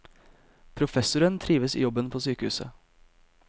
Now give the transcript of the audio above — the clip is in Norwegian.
Professoren trives i jobben på sykehuset.